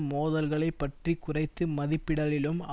மோதல்களைப் பற்றி குறைத்து மதிப்பிடலிலும்